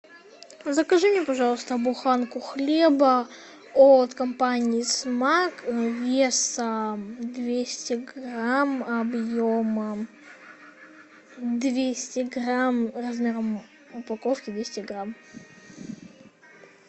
закажи мне пожалуйста буханку хлеба от компании смак весом двести грамм объемом двести грамм размером упаковки двести грамм